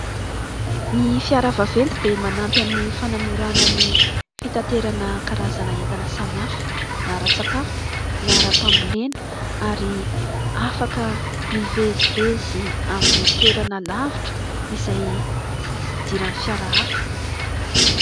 Ny fiara vaventy dia manampy amin'ny fanamorana ny fitaterana karazana entana samihafa na ara-tsakafo na ara- pambolena ary afaka mivezivezy amin'ny toerana lavitra izay tsy hisy idirany fiara hafa.